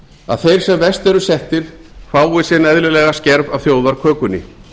að þeir sem verst eru settir fái sinn eðlilega skerf af þjóðarkökunni